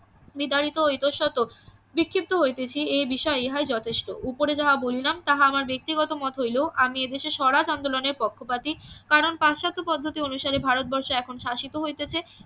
নিধারিত ও ইতস্তত বিক্ষিপ্ত হইতেছি এ বিষয়ে ইহাই যথেষ্ট উপরে যাহা বলিলাম তাহা আমার ব্যক্তিগত মত হইলেও আমি এদেশের স্বরাজ আন্দোলন এর পক্ষপাতী কারণ পাশ্চাত্য পদ্ধতি অনুসারে ভারতবর্ষে এখন শাসিত হইতেছে